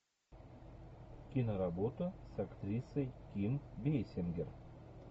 киноработа с актрисой ким бейсингер